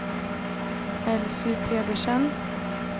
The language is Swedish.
Elsy Pedersen